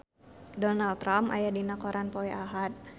Donald Trump aya dina koran poe Ahad